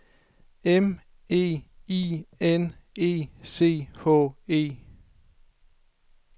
M E I N E C H E